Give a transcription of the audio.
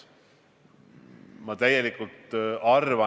Hea peaminister!